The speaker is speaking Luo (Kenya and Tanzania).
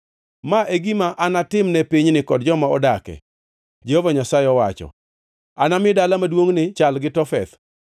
Ma e gima anatimne pinyni kod joma odak ka, Jehova Nyasaye owacho. Anami dala maduongʼni chal gi Tofeth.